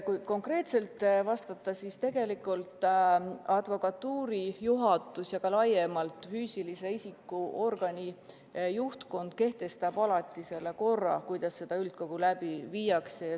Kui konkreetselt vastata, siis tegelikult kehtestab advokatuuri juhatus ja laiemalt üldse füüsilise isiku organi juhtkond korra, kuidas üldkogu läbi viiakse.